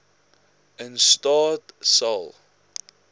in staat sal